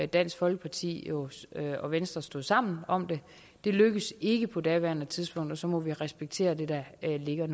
dansk folkeparti og venstre stod sammen om det det lykkedes ikke på daværende tidspunkt og så må vi respektere det der ligger